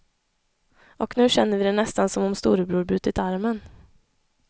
Och nu känner vi det nästan som om storebror brutit armen.